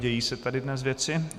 Dějí se tady dnes věci...